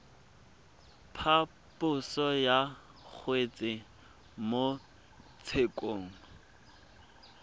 phaposo ya kgetse mo tshekong